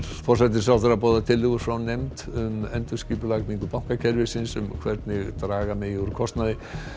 forsætisráðherra boðar tillögur frá nefnd um endurskipulagningu bankakerfisins um hvernig draga megi úr kostnaði